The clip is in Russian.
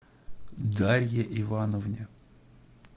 дарье ивановне